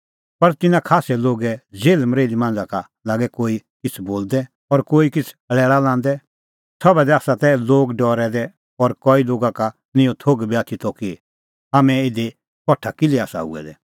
पर तिन्नां खास्सै लोगे जेल्हमरेल्ही मांझ़ा का लागै कोई किछ़ बोलदै और कोई किछ़ लैल़ा लांदै सभा दी आसा तै लोग डरै दै और कई लोगा का निं इहअ थोघ बी आथी त कि हाम्हैं इधी कठा किल्है आसा हुऐ दै